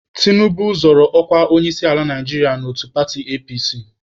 Tinubu zọrọ ọkwa onyeisiala Naijiria n'otu paatị APC.